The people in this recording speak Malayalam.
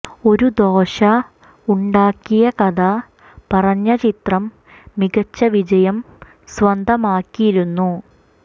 ഒരു ദോശ ഉണ്ടാക്കിയ കഥ പറഞ്ഞ ചിത്രം മികച്ച വിജയം സ്വന്തമാക്കിയിരുന്നു